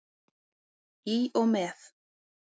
Í og með.